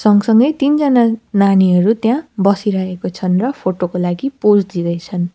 सँगसँगै तीनजना नानीहरू त्यहाँ बसिरहेको छन् र फोटो को लागि पोज दिँदैछन्।